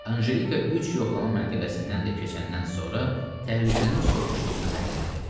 Anjelika üç yoxlama məntəqəsindən də keçəndən sonra təhlükənin sovuşduğunu zənn elədi.